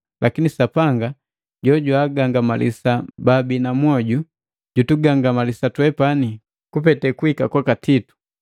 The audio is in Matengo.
Lakini Sapanga, jojwaagangamalisa baabina mwoju, jutugangamalisa twepani kupete kuhika kwaka Titu,